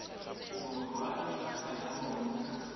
borwa le naga ya bona